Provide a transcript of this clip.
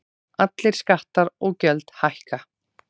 Allir skattar og gjöld hækka